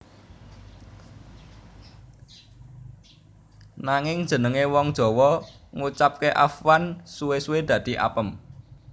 Nanging jenengé wong Jawa ngucapké afwan suwé suwé dadi apem